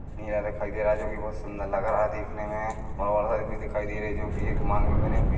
दिखाई दे रहा है जोकि बहुत सुंदर लग रहा है देखने में और औरत भी दिखाई दे रही है जो की एक मांग भरी बी--